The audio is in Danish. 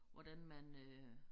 Hvordan man øh